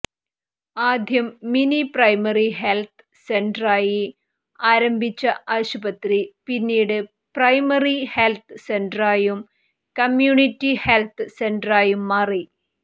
ആദ്യം mini primary health സെന്ററായി ആരംഭിച്ച ആശുപത്രി പിന്നീട് പ്രൈമറി ഹെൽത്ത് സെന്ററായും കമ്മ്യൂണിറ്റി ഹെൽത്ത് സെന്ററായും മാറി